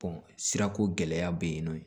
sirako gɛlɛya be yen nɔn